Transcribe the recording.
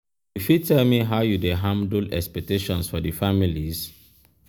you fit tell me how you dey handle expectations in di families?